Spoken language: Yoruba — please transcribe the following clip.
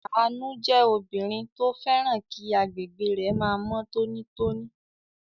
Àánú jẹ́ obìnrin tó fẹ́ràn kí agbègbè rẹ̀ máa mọ́ tónítóní.